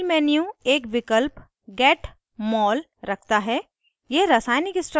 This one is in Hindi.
menu bar पर file menu एक विकल्प get mol रखता है